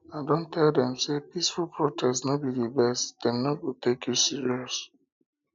i don tell dem sey peaceful protest no be di best dem no go take you serious